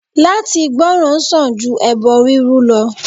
Látí gbòrán sań ju ebo rurú lọ